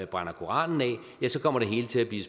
koranen af ja så kommer det hele til at blive